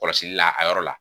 Kɔlɔsili la a yɔrɔ la.